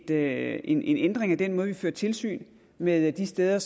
lave en ændring af den måde hvorpå vi fører tilsyn med de steder